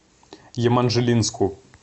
еманжелинску